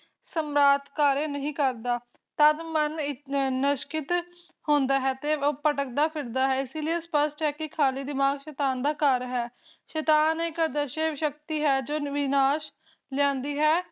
ਸਮ੍ਰਾਟ ਕਰਿਆ ਨਹੀ ਕਰਦਾ ਮਨ ਨਿਸ਼੍ਕਿਤ ਹੁੰਦਾ ਹੈ ਤਏ ਭਟਕਦਾ ਫਿਰਦਾ ਹੈ ਇਸੇ ਲਯੀ ਸਪਸ਼ਟ ਹੈ ਖਾਲੀ ਦਿਮਾਗ ਸ਼ੇਤਾਨ ਦਾ ਘਰ ਹੁੰਦਾ ਹੈ ਸ਼ੇਤਾਨ ਇੱਕ ਅਦਰਸ਼ਵ ਸ਼ਕਤੀ ਹੈ ਜੋ ਵਿਨਾਸ਼ ਲਿਆਦੀਂ ਹੈ